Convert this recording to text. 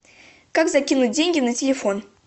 как закинуть деньги на телефон